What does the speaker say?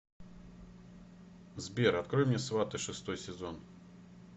сбер открой мне сваты шестой сезон